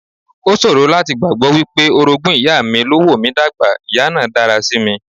O ṣòro láti gbàgbọ́ wípé orogún ìyá mi ló wò mí dà gbà, ìyá náà dára sí mi.